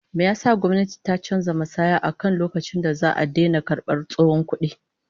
Me yasa gwamnayti ta canza matsaya akan lokacin da za'a daina karbar tsohon kudi?